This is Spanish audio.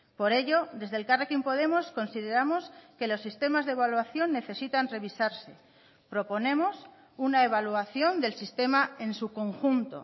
por ello desde elkarrekin podemos consideramos que los sistemas de evaluación necesitan revisarse proponemos una evaluación del sistema en su conjunto